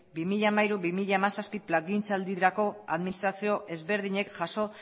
bi mila hamairu bi mila hamazazpi plangintzaldirako administrazio ezberdinek jaso